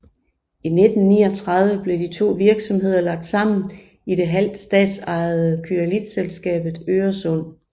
I 1939 blev de to virksomheder lagt sammen i det halvt statsejede Kryolitselskabet Øresund